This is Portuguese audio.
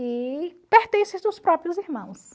e pertences dos próprios irmãos.